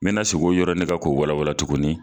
N me sigi o yɔrɔ nin kan k'o walawala tuguni